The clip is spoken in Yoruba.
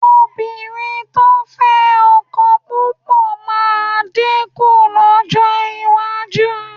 Obìnrin tó ń fẹ́ ọkọ púpọ̀ máa dínkù lọ́jọ́ iwájú